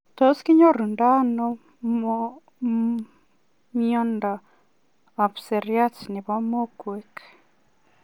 Tos kinyorundoi anoo miondoop siryat nepo mokwek?